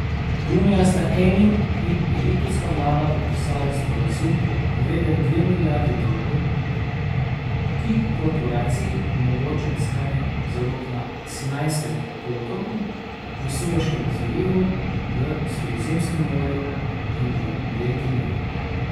Junija sta Eni in egiptovska vlada podpisali sporazum, vreden dve milijardi dolarjev, ki korporaciji omogoča iskanje zalog na Sinajskem polotoku, v Sueškem zalivu, v Sredozemskem morju in v delti Nila.